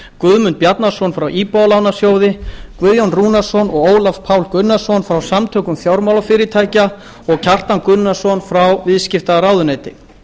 guðmund bjarnason frá íbúðalánasjóði guðjón rúnarsson og ólaf pál gunnarsson frá samtökum fjármálafyrirtækja og kjartan gunnarsson frá viðskiptaráðuneyti